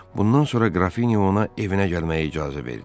Bundan sonra qrafinya ona evinə gəlməyə icazə verdi.